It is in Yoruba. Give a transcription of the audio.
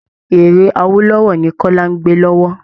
Eré Awolowo ni kọ́lá ń gbẹ́ lọ́wọ́